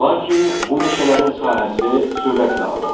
Lakin bu meşələrin sahəsi sürətlə azalır.